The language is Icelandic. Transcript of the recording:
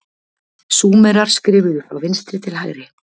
Súmerar skrifuðu frá vinstri til hægri.